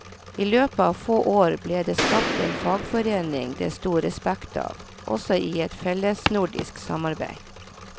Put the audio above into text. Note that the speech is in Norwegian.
I løpet av få år ble det skapt en fagforening det sto respekt av, også i et fellesnordisk samarbeid.